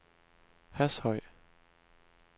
Hashøj